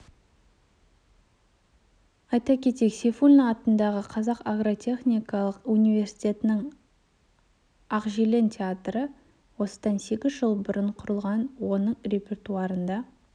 айта кетейік сейфуллин атындағы қазақ агротехникалық университетінің ақжелкен театры осыдан сегіз жыл бұрын құрылған оның репертуарында